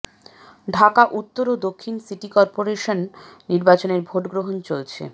ঢাকা উত্তর ও দক্ষিণ সিটি করপোরেশন নির্বাচনের ভোটগ্রহণ চলছে